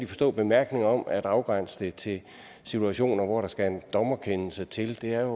forstå bemærkningen om at afgrænse det til situationer hvor der skal en dommerkendelse til det her